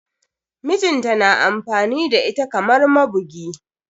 Mijinta na amfani da ita kamar mabugi.